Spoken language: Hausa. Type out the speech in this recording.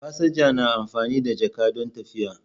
Fasinja na amfani da jaka don tafiya.